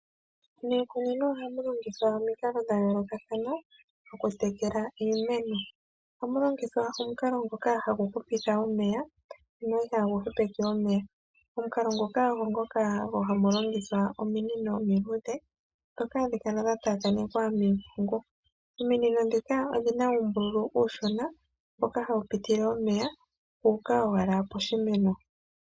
Miikunino ohamu longithwa omikalo dhayoolokathana okutekela iimeno. Ohamu longithwa omukalo ngoka hagu hupitha omeya ano itagu hepeke omeya. Omukalo ngoka ogo ngoka haku longithwa ominino omiluudhe. Ndhoka hadhi kala dha taakanekwa miimpungu. Ominino ndhika odhina uumbululu uushona mpoka hapu pitile omeya guuka owala poshimeno.